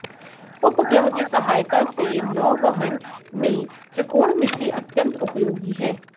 उपग्रह की सहायता से नौवहन में त्रिकोणमिति अत्यन्त उपयोगी है